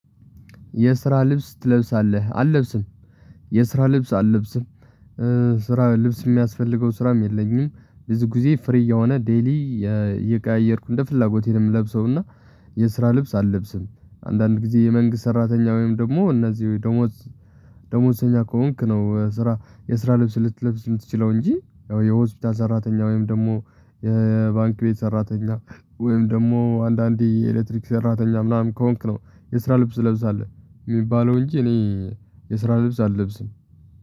የስራ ልብስ ትለብሳለህ አልለብስም። የስራ ልብስ አልለብስም። ስራ ልብስ የሚያስፈልገው ስራም የለኝም ብዙ ጊዜ ፍሪ የሆነ ዴይሊ የቀያየርኩ እንደ ፍላጎቴ ነው የምለብሰውና የስራ ልብስ አልለብስም። አንዳንድ ጊዜ የመንግስት ሰራተኛ ወይም ደግሞ እነዚህ ደሞዝ ደሞዝኛ ከሆንክ ነው ስራ የስራ ልብስ ልትለብስ የምትችለው እንጂ ያው የሆስፒታል ሰራተኛ ወይም ደግሞ የባንክ ቤት ሰራተኛ ወይም ደግሞ አንዳንዴ የኤሌክትሪክ ሰራተኛ ምናምን ከሆንክ ነው የስራ ልብስ ትለብሳለህ። የሚባለው እንጂ እኔ የስራ ልብስ አለብስም።